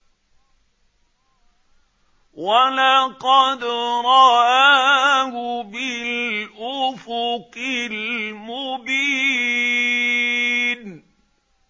وَلَقَدْ رَآهُ بِالْأُفُقِ الْمُبِينِ